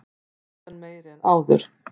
Óvissan meiri en áður